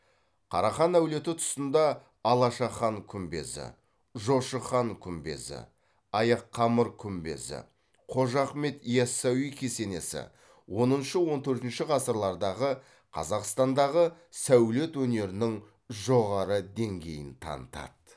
қарахан әулеті тұсында алаша хан күмбезі жошы хан күмбезі аяққамыр күмбезі қожа ахмет иасауи кесенесі оныншы он төртінші ғасырлардағы қазақстандағы сәулет өнерінің жоғары деңгейін танытады